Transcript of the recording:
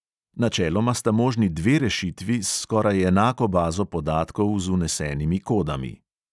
Načeloma sta možni dve rešitvi s skoraj enako bazo podatkov z vnesenimi kodami.